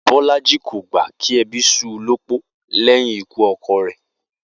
Bó̩lájí kò gbà kí e̩bí s̩ú u lópó lé̩yìn ikú o̩ko̩ rè̩